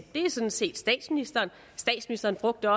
det er sådan set statsministeren statsministeren brugte